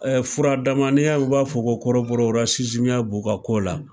furadama n'i y'a ye, u b'a fɔ ko kɔrɔbɔrɔ ko b'u ka ko la